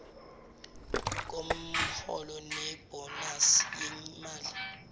komholo nebhonasi yemali